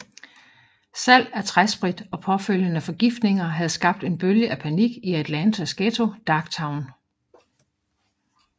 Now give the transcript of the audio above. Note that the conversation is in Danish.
Salg af træsprit og påfølgende forgiftninger havde skabt en bølge af panik i Atlantas ghetto Darktown